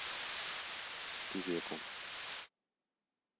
певеком